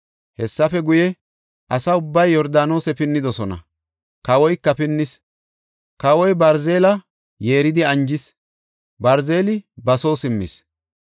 Hessafe guye, asa ubbay Yordaanose pinnidosona; kawoyka pinnis. Kawoy Barzile yeeridi anjis; Barziley ba soo simmis.